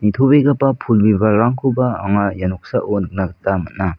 nitobegipa pul bibalrangkoba anga ia noksao nikna gita man·a.